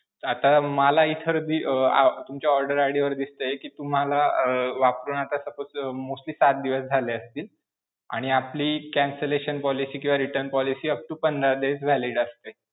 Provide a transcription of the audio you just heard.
आता मला इथं अं तुमच्या order ID वर दिसतंय कि तुम्हाला अं वापरून आता suppose mostly पाच दिवस झाले असतील, आणि आपली cancellation policy किंवा return policy upto पंधरा days valid असते.